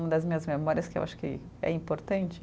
Uma das minhas memórias que eu acho que é importante.